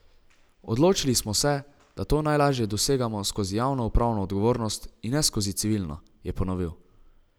Odločili smo se, da to najlažje dosegamo skozi javno upravno odgovornost, in ne skozi civilno, je ponovil.